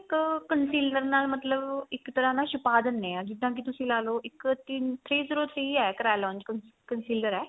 ਇੱਕ conciliar ਨਾਲ ਮਤਲਬ ਇੱਕ ਤਰ੍ਹਾਂ ਦਾ ਛਪਾ ਦਿਨੇ ਆ ਜਿੱਦਾ ਕੀ ਤੁਸੀਂ ਲਾ ਲੋ ਤਿੰਨ three zero three ਏ carillon conciliar ਏ